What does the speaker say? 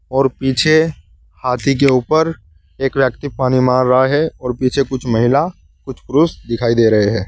और पीछे हाथी के ऊपर एक व्यक्ति पानी मार रहा है और पीछे कुछ महिला कुछ पुरुष दिखाई दे रहे हैं।